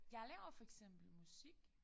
Jeg laver for eksempel musik